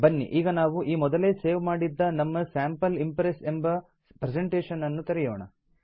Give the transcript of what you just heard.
ಬನ್ನಿ ಈಗ ನಾವು ಈ ಮೊದಲೇ ಸೇವ್ ಮಾಡಿದ್ದ ನಮ್ಮ sample ಇಂಪ್ರೆಸ್ ಎಂಬ ಪ್ರೆಸೆಂಟೇಷನ್ ಅನ್ನು ತೆರೆಯೋಣ